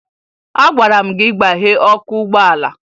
Agwara m gị gbaghee ọkụ ụgbọala!